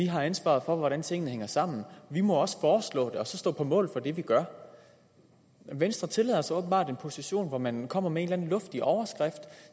har ansvaret for hvordan tingene hænger sammen vi må også foreslå det og så stå på mål for det vi gør venstre tillader sig åbenbart at tage en position hvor man kommer med en eller anden luftig overskrift og